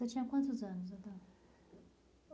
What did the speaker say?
Você tinha quantos anos, Adão?